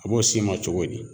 A b'o s'i ma cogo di?